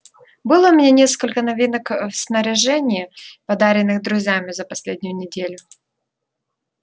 было у меня несколько новинок ээ в снаряжении подаренных друзьями за последнюю неделю